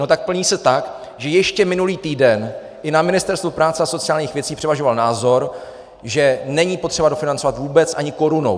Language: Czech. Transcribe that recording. No tak plní se tak, že ještě minulý týden i na Ministerstvu práce a sociálních věcí převažoval názor, že není potřeba dofinancovat vůbec ani korunou.